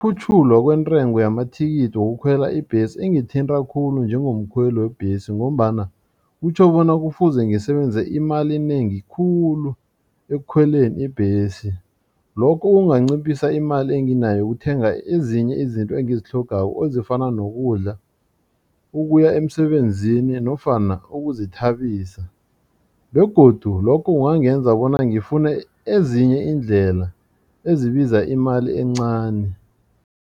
Ukukhutjhulwa kwentengo yamathikithi wokukhwela ibhesi ingithinta khulu njengomkhweli webhesi ngombana kutjho bona kufuze ngisebenzise imali enengi khulu ekukhweleni ibhesi. Lokho kunganciphisa imali enginayo yokuthenga ezinye izinto engizitlhoga ezifana nokudla ukuya emsebenzini nofana ukuzithabisa begodu lokho kungangenza bona ngifune ezinye iindlela ezibiza imali encani.